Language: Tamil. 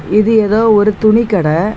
இது ஏதோ ஒரு துணி கடை.